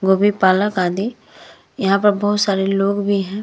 गोबी पालक अदि यहाँ पर बहोत सारे लोग भी हैं।